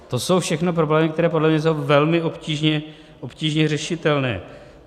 To jsou všechno problémy, které podle mě jsou velmi obtížně řešitelné.